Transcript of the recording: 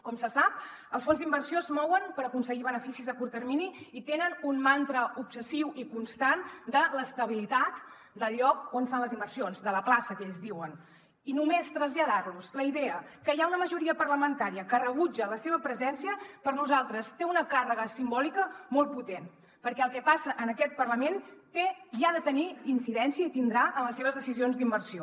com se sap els fons d’inversió es mouen per aconseguir beneficis a curt termini i tenen un mantra obsessiu i constant de l’estabilitat del lloc on fan les inversions de la plaça que ells en diuen i només traslladar los la idea que hi ha una majoria parlamentària que rebutja la seva presència per nosaltres té una càrrega simbòlica molt potent perquè el que passa en aquest parlament té i ha de tenir incidència i en tindrà en les seves decisions d’inversió